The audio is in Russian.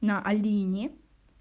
на алине